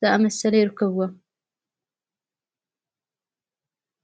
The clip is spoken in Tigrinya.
ዝኣመሰለ ይርከብ።